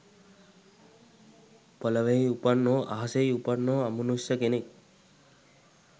පොළොවෙහි උපන් හෝ අහසෙහි උපන් හෝ අමනුෂ්‍ය කෙනෙක්